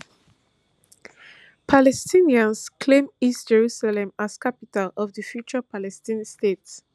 palestinians claim east jerusalem as capital of di future palestine state